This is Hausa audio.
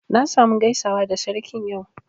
Na sa mu gaisawa da Sarkin yau